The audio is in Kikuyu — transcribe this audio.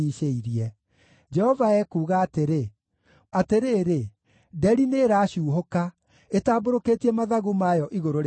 Jehova ekuuga atĩrĩ: “Atĩrĩrĩ! Nderi nĩĩracuuhũka, ĩtambũrũkĩtie mathagu mayo igũrũ rĩa Moabi.